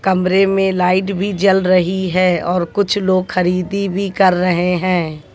कमरे में लाइट भी जल रही है और कुछ लोग खरीदी भी कर रहे हैं।